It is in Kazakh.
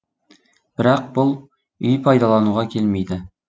бірақ бұл үй пайдалануға келмейді